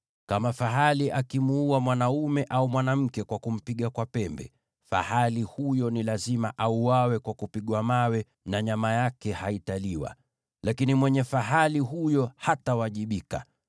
“Kama fahali akimuua mwanaume au mwanamke kwa kumpiga kwa pembe, fahali huyo ni lazima auawe kwa kupigwa mawe, na nyama yake haitaliwa. Lakini mwenye fahali huyo hatawajibika.